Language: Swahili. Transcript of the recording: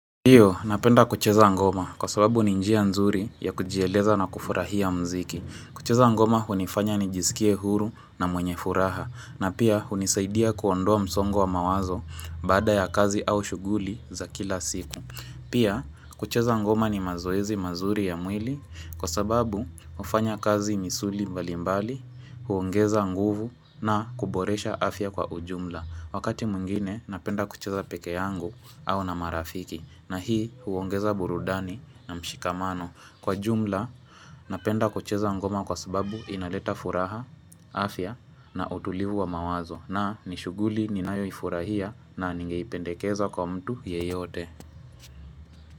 Ndio, napenda kucheza ngoma kwa sababu ni njia nzuri ya kujieleza na kufurahia mziki. Kucheza ngoma hunifanya ni jisikie huru na mwenye furaha na pia hunisaidia kuondoa msongo wa mawazo baada ya kazi au shughuli za kila siku. Pia, kucheza ngoma ni mazoezi mazuri ya mwili kwa sababu hufanya kazi misuli mbalimbali, huongeza nguvu na kuboresha afya kwa ujumla. Wakati mwingine, napenda kucheza pekee yangu au na marafiki. Na hii huongeza burudani na mshikamano kwa jumla na penda kucheza ngoma kwa sababu inaleta furaha, afya na utulivu wa mawazo na nishuguli ninayo ifurahia na ningeipendekeza kwa mtu yeyote.